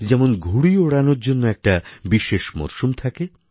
যেমন ঘুড়ি ওড়ানোর জন্য একটি বিশেষ মরশুম থাকে